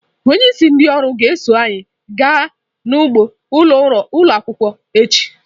Onyeisi ndị ọrụ ga-eso anyị gaa n'ugbo ụlọ akwụkwọ echi.